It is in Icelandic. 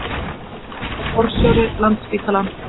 Björn forstjóri Landspítala